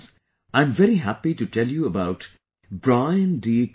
Friends, I am very happy to tell you about Brian D